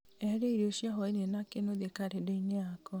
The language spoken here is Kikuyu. eheria irio cia hwaĩ-inĩ na kĩnuthia karenda-inĩ yakwa